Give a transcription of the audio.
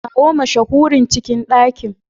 Kawo mashahurin cikin ɗakin.